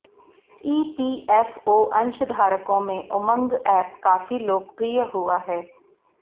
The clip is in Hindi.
ईपीएफओ अंशधारकों में उमंग ऐप काफी लोकप्रिय हुआ है